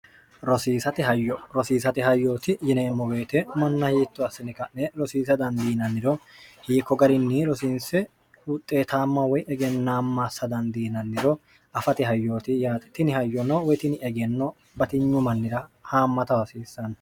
rosiisate hayyooti yineemmo beyete manna hiitto assini ka'ne rosiisa dandiinanniro hiikko garinni rosiinse huxxeetaamma woy egennaammassa dandiinanniro afate hayyooti ytini hayyono woy tini egenno batinyu mannira haammata hasiissanno